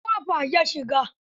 Ta ƙofa ya shigo.